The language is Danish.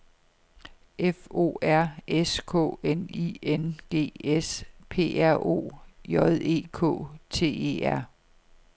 F O R S K N I N G S P R O J E K T E R